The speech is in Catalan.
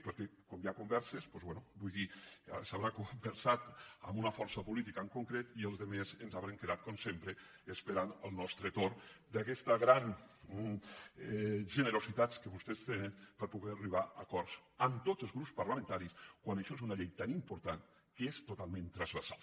perquè com hi ha converses doncs bé vull dir es deu haver conversat amb una força política en concret i els altres ens devem haver quedat com sempre esperant el nostre torn d’aquesta gran generositat que vostès tenen per poder arribar a acords amb tots els grups parlamentaris quan això és una llei tan important que és totalment transversal